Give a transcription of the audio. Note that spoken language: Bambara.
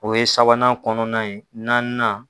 O ye sabanan kɔnɔna ye nanni na